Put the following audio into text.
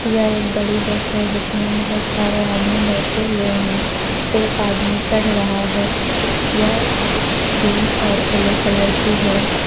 यह एक बड़ी बस है जिसमें बहुत सारे आदमी बैठे हुए हैं एक आदमी चढ़ रहा है यह क्रीम और येलो कलर की है।